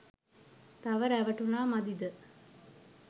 තව රැවටුනා මදිද?